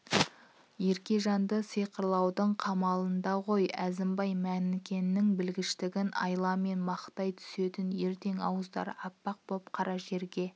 еркежанды сиқырлаудың қамында ғой әзімбай мәнікенің білгіштігін айламен мақтай түсетін ертең ауыздары аппақ боп қара жерге